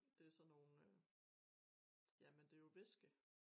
Det sådan nogen øh jamen det jo væske